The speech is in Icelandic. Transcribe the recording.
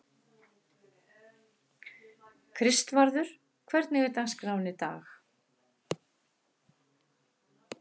Kristvarður, hvernig er dagskráin í dag?